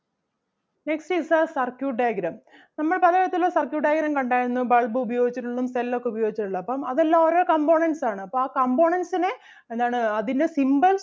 Next is the circuit diagram. നമ്മൾ പലതരത്തിൽ ഉള്ള circuit diagram കണ്ടാരുന്നു bulb ഉപയോഗിച്ചിട്ടുള്ളതും cell ഒക്കെ ഉപയോഗിച്ചിട്ടുള്ളതും അപ്പം അതെല്ലാം ഓരോ components ആണ് അപ്പം ആ components നെ എന്താണ് അതിൻ്റെ symbols